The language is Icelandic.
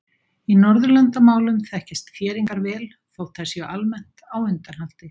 Í Norðurlandamálum þekkjast þéringar vel þótt þær séu almennt á undanhaldi.